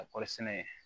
Ka kɔɔri sɛnɛ